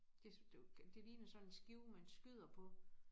Det det jo det ligner sådan en skive man skyder på